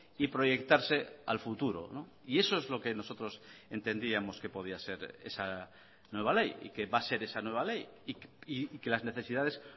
y proyectarse al futuro y eso es lo que nosotros entendíamos que podía ser esa nueva ley y que va a ser esa nueva ley y que las necesidades